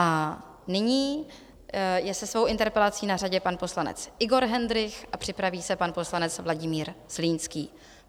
A nyní je se svou interpelací na řadě pan poslanec Igor Hendrych a připraví se pan poslanec Vladimír Zlínský.